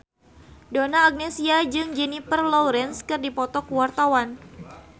Donna Agnesia jeung Jennifer Lawrence keur dipoto ku wartawan